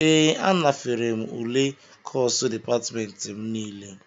Ee, anafere m ule kọsu dịpatmentị m nile